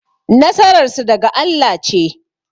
Nasarar su daga Allah ce